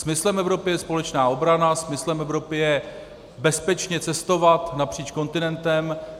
Smyslem Evropy je společná obrana, smyslem Evropy je bezpečně cestovat napříč kontinentem.